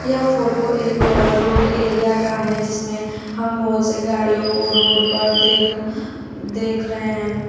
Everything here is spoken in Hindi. यह फोटो एक रोड एरिया का है जिसमें हम बहोत से गाड़ियों को रोड पर देख देख रहे हैं।